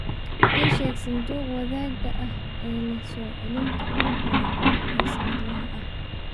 ii sheeg sanduuqa wadaagga ah ee leh soo-celinta ugu badan ee sannadlaha ah